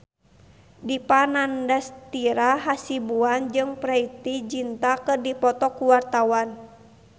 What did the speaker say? Dipa Nandastyra Hasibuan jeung Preity Zinta keur dipoto ku wartawan